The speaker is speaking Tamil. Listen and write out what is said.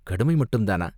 கடுமை மட்டுந்தானா